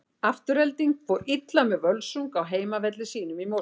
Afturelding fór illa með Völsung á heimavelli sínum í Mosfellsbæ.